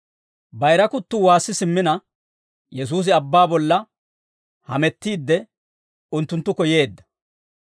Bayira kuttuu waassi simmina, Yesuusi abbaa bolla hamettiidde, unttunttukko yeedda.